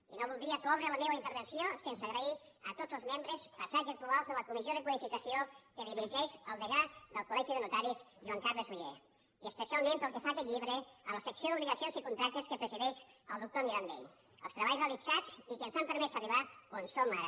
i no voldria cloure la meva intervenció sense agrair a tots els membres passats i actuals de la comissió de codificació que dirigeix el degà del coltaris joan carles ollé i especialment pel que fa a aquest llibre a la secció d’obligacions i contractes que presideix el doctor mirambell els treballs realitzats i que ens han permès arribar on som ara